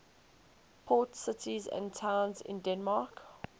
port cities and towns in denmark